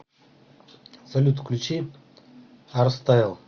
салют включи арстайл